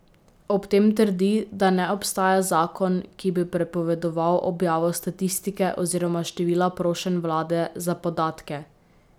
Ob tem trdi, da ne obstaja zakon, ki bi prepovedoval objavo statistike oziroma števila prošenj vlade za podatke.